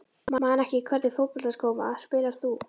Man ekki Í hvernig fótboltaskóm spilar þú?